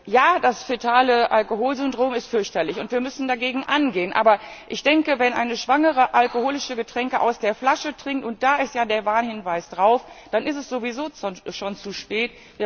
Ja, das Fetale Alkoholsyndrom ist fürchterlich, und wir müssen dagegen angehen, aber ich denke, wenn eine Schwangere alkoholische Getränke aus der Flasche trinkt und da ist ja der Warnhinweis drauf dann ist es sowieso schon zu spät.